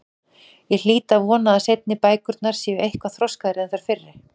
Ég hlýt að vona að seinni bækurnar séu eitthvað þroskaðri en þær fyrri.